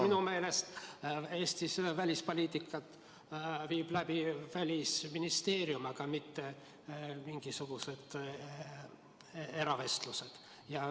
Minu meelest viib Eestis välispoliitikat läbi Välisministeerium, seda ei tehta mingisuguste eravestlustega.